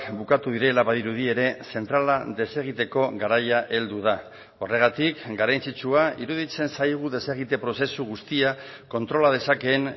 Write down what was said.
bukatu direla badirudi ere zentrala desegiteko garaia heldu da horregatik garrantzitsua iruditzen zaigu desegite prozesu guztia kontrola dezakeen